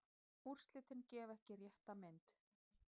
Úrslitin gefa ekki rétta mynd.